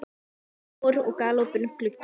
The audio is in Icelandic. Það er vor og galopinn gluggi.